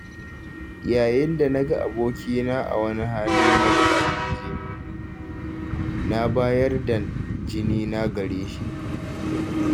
Yayin dana ga abokina a wani hali na bukatar jini, na bayar da jinina gareshi.